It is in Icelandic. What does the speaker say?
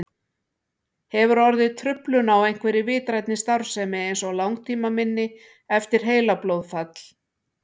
Hefur orðið truflun á einhverri vitrænni starfsemi eins og langtímaminni eftir heilablóðfall?